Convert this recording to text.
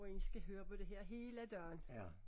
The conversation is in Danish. Hvor en skal høre på det her hele dagen